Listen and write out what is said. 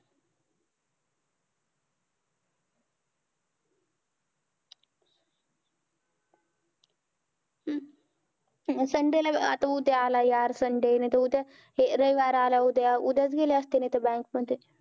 Sunday ला आता उद्या आला यार, sunday नाहीतर, उद्या हे रविवार आला उद्या, उद्याच गेले असते नाहीतर bank मध्ये.